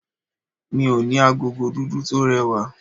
Mo ní agogo dúdú tó rẹwà.